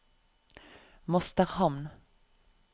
Mosterhamn